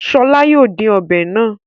Ṣọl yóò dín ọbẹ̀ náà.